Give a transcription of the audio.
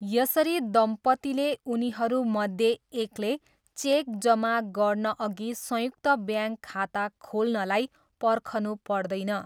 यसरी दम्पतीले उनीहरूमध्ये एकले चेक जम्मा गर्नअघि संयुक्त ब्याङ्क खाता खोल्नलाई पर्खनु पर्दैन।